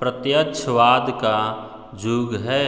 प्रत्यक्षवाद का युग है